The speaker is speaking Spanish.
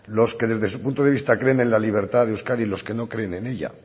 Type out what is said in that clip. los que desde su punto de vista creen en la libertad de euskadi y los que no creen en ella